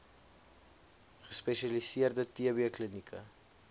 gespesialiseerde tb klinieke